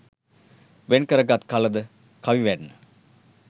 වෙන් කරගත් කල ද කවි වැන්න